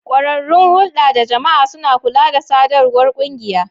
Kwararrun hulda da jama'a suna kula da sadarwar kungiya.